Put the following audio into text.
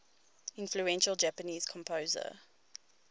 influential japanese composer